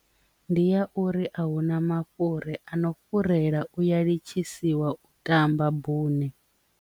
Ndi ya uri a huna mafhuri ano fhirela uya litshi isiwa u tamba bune.